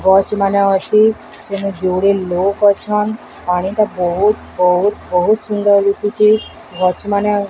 ଗଛ୍ ମାନେ ଅଛି ସେନେ ଯୋଡ଼େ ଲୋକ୍ ଅଛନ୍ ପାଣିଟା ବହୁତ୍ ବହୁତ୍ ବହୁତ୍ ସୁନ୍ଦର ଦିସୁଚି ଗଛ ମାନେ --